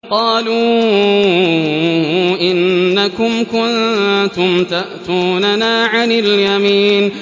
قَالُوا إِنَّكُمْ كُنتُمْ تَأْتُونَنَا عَنِ الْيَمِينِ